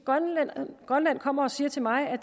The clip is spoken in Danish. grønland kommer og siger til mig at